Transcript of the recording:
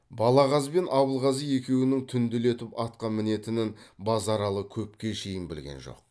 балағаз бен абылғазы екеуінің түнделетіп атқа мінетінін базаралы көпке шейін білген жоқ